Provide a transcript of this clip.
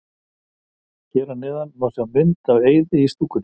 Hér að neðan má sjá mynd af Eiði í stúkunni.